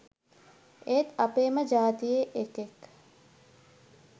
ඒත් අපේම ජාතියේ එකෙක්